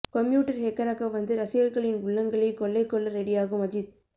commuter ஹெக்கராக வந்து ரசிகர்களின் உள்ளங்களை கொள்ளை கொள்ள ரெடியாகும் அஜித்